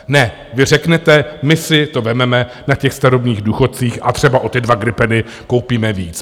Ne, vy řeknete, my si to vezmeme na těch starobních důchodcích a třeba o ty dva gripeny koupíme víc.